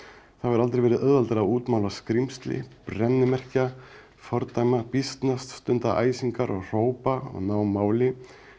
það hefur aldrei verið auðveldara að útmála skrímsli brennimerkja fordæma býsnast stunda æsingar og hrópa og ná máli